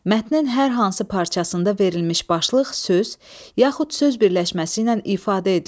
Mətnin hər hansı parçasında verilmiş başlıq söz, yaxud söz birləşməsi ilə ifadə edilir.